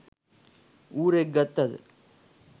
ඌරෙක් ගත්ත ද